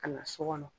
Ka na so kɔnɔ